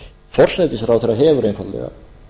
forsætisráðherra hefur einfaldlega